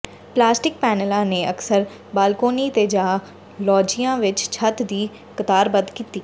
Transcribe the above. plastic ਪੈਨਲਾਂ ਨੇ ਅਕਸਰ ਬਾਲਕੋਨੀ ਤੇ ਜਾਂ ਲੌਗਜੀਆ ਵਿਚ ਛੱਤ ਦੀ ਕਤਾਰਬੱਧ ਕੀਤੀ